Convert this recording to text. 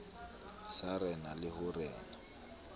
sa rena le ho rena